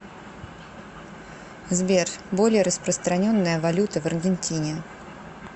сбер более распространенная валюта в аргентине